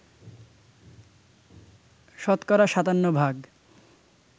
শতকরা ৫৭ ভাগ